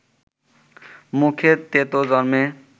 মুখে তেঁতো জমে